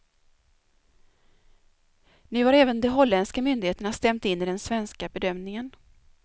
Nu har även de holländska myndigheterna stämt in i den svenska bedömningen.